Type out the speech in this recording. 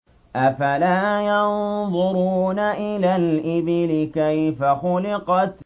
أَفَلَا يَنظُرُونَ إِلَى الْإِبِلِ كَيْفَ خُلِقَتْ